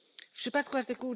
W przypadku art.